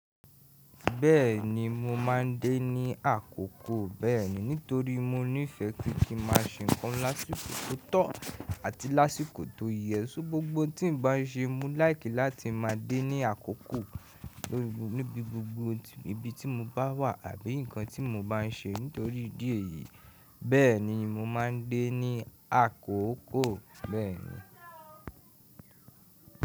Bẹ́ẹ̀ni mo máa ń déní àkókò bẹ́ẹ̀ni, nítorí mo nífẹ̀ẹ́ pé kí ma ṣe nǹkan lásìkò tó tọ́ àti lásìkò tó ye. Gbogbo tín bá n ṣe, mo láìkì láti máa déní àkókò níbi gbogbo ibi tí mo bá wà àbí nǹkan tí mo bá ń ṣe nítorí ìdí èyí. Bẹ́ẹ̀ni mo máa ń déní àkókò bẹ́ẹ̀ni.